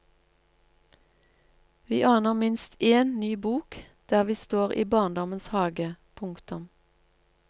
Vi aner minst én ny bok der vi står i barndommens hage. punktum